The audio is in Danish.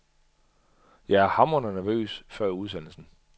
Jeg er hamrende nervøs før udsendelsen.